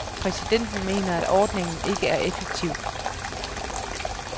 Præsidenten mener, at ordningen ikke er effektiv.